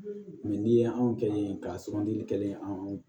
n'i ye anw kelen k'a sugandili kɛ anw